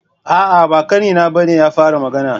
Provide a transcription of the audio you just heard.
A'a, ba ƙanina ba ne ya fara magana.